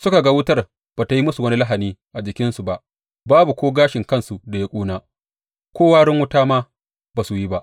Suka ga wutar ba tă yi musu wani lahani a jikinsu ba, babu ko gashin kansu da ya ƙuna; ko warin wuta ma ba su yi ba.